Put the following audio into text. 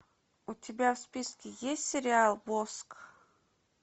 у тебя в списке есть сериал воск